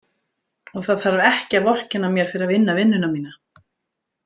Og það þarf ekki að vorkenna mér fyrir að vinna vinnuna mína.